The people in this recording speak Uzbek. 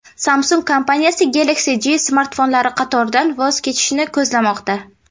Samsung kompaniyasi Galaxy J smartfonlari qatoridan voz kechishni ko‘zlamoqda.